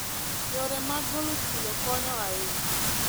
Yore mag golo chilo konyo ahinya